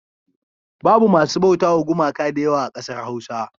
Babu masu bautawa gumaka da yawa a ƙasar Hausa.